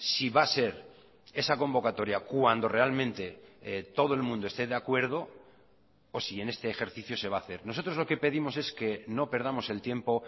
si va a ser esa convocatoria cuando realmente todo el mundo esté de acuerdo o si en este ejercicio se va a hacer nosotros lo que pedimos es que no perdamos el tiempo